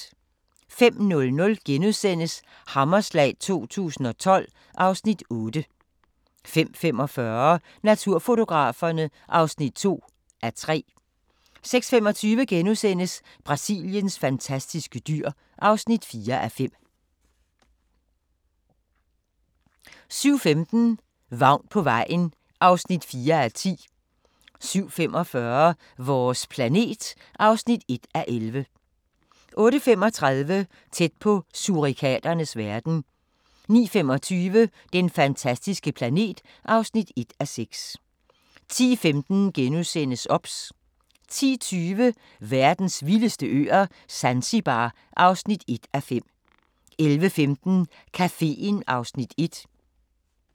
05:00: Hammerslag 2012 (Afs. 8)* 05:45: Naturfotograferne (2:3) 06:25: Brasiliens fantastiske dyr (4:5)* 07:15: Vagn på vejen (4:10) 07:45: Vores planet (1:11) 08:35: Tæt på surikaternes verden 09:25: Den fantastiske planet (1:6) 10:15: OBS * 10:20: Verdens vildeste øer - Zanzibar (1:5) 11:15: Caféen (Afs. 1)